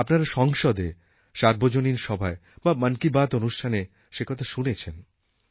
আপনারা সংসদে সার্বজনীন সভায় বা মন কি বাত অনুষ্ঠানে সে কথা শুনেছেন